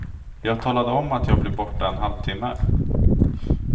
Jag talade om att jag blir borta en halvtimme.